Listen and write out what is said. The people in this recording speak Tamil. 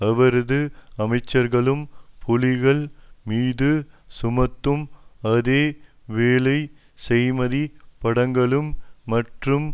அவரது அமைச்சர்களும் புலிகள் மீது சுமத்தும் அதே வேளை செய்மதி படங்களும் மற்றும்